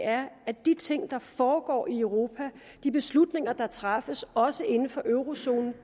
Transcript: er at de ting der foregår i europa de beslutninger der træffes også inden for eurozonen